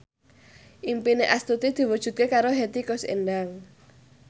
impine Astuti diwujudke karo Hetty Koes Endang